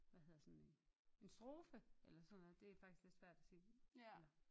Hvad hedder sådan en en strofe eller sådan noget det er faktisk lidt svært at sige